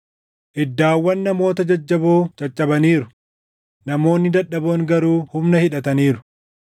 “Iddaawwan namoota jajjaboo caccabaniiru; namoonni dadhaboon garuu humna hidhataniiru.